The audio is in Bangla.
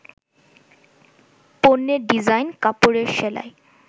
পণ্যের ডিজাইন, কাপড়ের সেলাই